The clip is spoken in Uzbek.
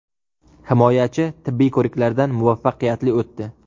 Himoyachi tibbiy ko‘riklardan muvaffaqiyatli o‘tdi.